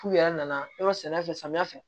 F'u yɛrɛ nana yɔrɔ sɛnɛ fɛ samiya fɛ